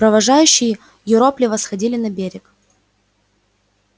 провожающие юропливо сходили на берег